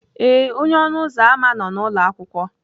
ee, onye ọnụ ụzọ ámá nọ n'ụlọ akwụkwọ.